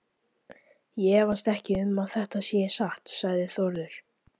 Ég efast ekki um að þetta sé satt, sagði Þórður.